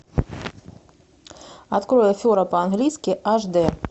открой афера по английски аш дэ